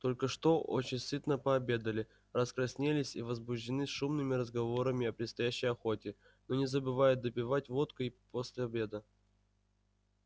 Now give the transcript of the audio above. только что очень сытно пообедали раскраснелись и возбуждены шумными разговорами о предстоящей охоте но не забывают допивать водку и после обеда